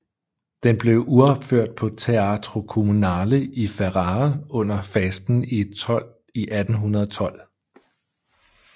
Den blev uropført på Teatro Comunale i Ferrara under fasten i 1812